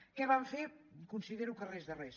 què van fer considero que res de res